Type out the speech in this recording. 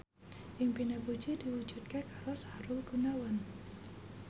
impine Puji diwujudke karo Sahrul Gunawan